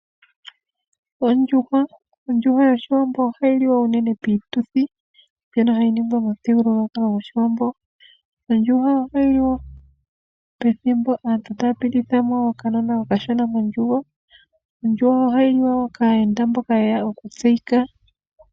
Ondjuhwa yOshiwambo ohayi liwa unene piituthi mbyono hayi ningwa momuthigululwakalo gOshiwambo. Ondjuhwa ohayi liwa pethimbo aantu taya pititha mo okanona okashona mondjugo. Ondjuhwa ohayi liwa kaayenda mboka ye ya okutseyika.